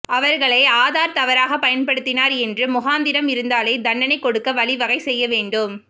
அவர்களை ஆதார் தவறாக பயன்படுத்தினார் என்று முகாந்திரம் இருந்தாலே தண்டனை கொடுக்க வழி வகை செய்யவேண்டும்